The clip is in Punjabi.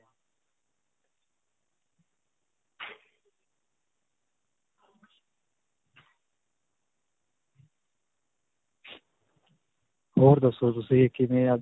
ਹੋਰ ਦੱਸੋ ਤੁਸੀਂ ਕਿਵੇਂ ਅੱਜ